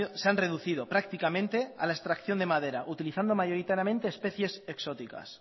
se han reducido prácticamente a la extracción de madera utilizando mayoritariamente especies exóticas